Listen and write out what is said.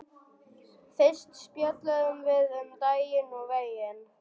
Fyrst spjölluðum við um daginn og veginn.